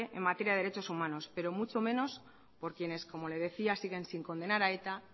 en materia de derechos humanos pero mucho mejor por quienes como le decía siguen sin condenar a eta